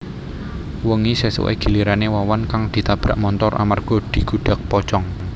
Wengi sesuké gilirané Wawan kang ditabrak montor amarga digudag pocong